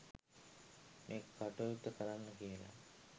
මේ කටයුත්ත කරන්න කියලා